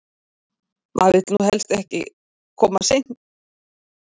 Maður vill nú helst ekki koma of seint á stefnumót, sérstaklega ekki í fyrsta skipti!